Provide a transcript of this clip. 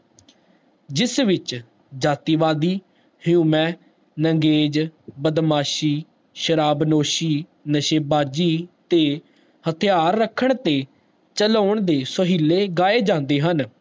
ਜਿਸ ਵਿਚ ਜਾਤੀਵਾਦੀ, ਹਉਮੈ, ਨੰਗੇਜ, ਬਦਮਾਸ਼ੀ, ਸ਼ਰਾਬਨੋਸ਼ੀ, ਨਸ਼ੇਬਾਜੀ ਤੇ ਹਥਿਆਰ ਰੱਖਣ ਤੇ ਚਲਾਉਣ ਦੇ ਸੋਹਿਲੇ ਗਏ ਜਾਂਦੇ ਹਨ